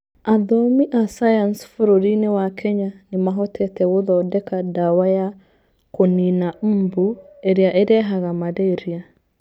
Athomi a sayansi bũrũri-inĩ wa Kenya nĩ mahotete gũthondeka ndawa ya kũniina mbu ĩrĩa ĩrehaga malaria.